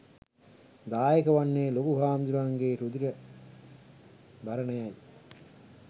දායක වන්නේ ලොකු හාමුදුරුවන්ගේ රුධිර බරණියයි